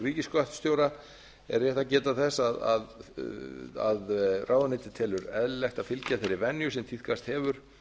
ríkisskattstjóra er rétt að geta þess að ráðuneytið telur eðlilegt að fylgja þeirri venju sem tíðkast hefur